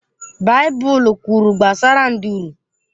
Baịbụl kwuru gbasara nduru.